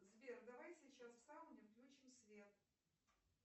сбер давай сейчас в сауне включим свет